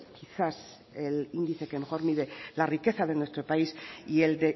quizás el índice que mejor mide la riqueza de nuestro país y el